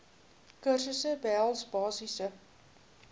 kursusse behels basiese